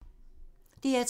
DR2